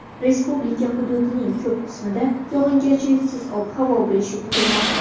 Respublika hududining ko‘p qismida yog‘ingarchiliksiz ob-havo bo‘lishi kutilmoqda.